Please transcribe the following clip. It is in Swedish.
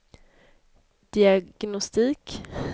diagnostik